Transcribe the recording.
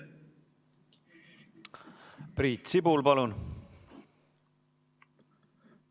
Priit Sibul, palun!